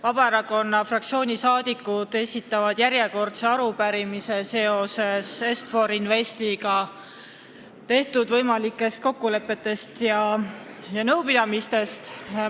Vabaerakonna fraktsiooni liikmed esitavad järjekordse arupärimise Est-For Investiga tehtud võimalike kokkulepete ja nõupidamiste kohta.